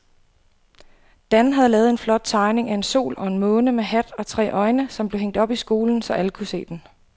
Dan havde lavet en flot tegning af en sol og en måne med hat og tre øjne, som blev hængt op i skolen, så alle kunne se den.